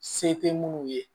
Se tɛ munnu ye